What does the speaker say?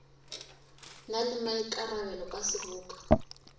na le maikarabelo ka seboka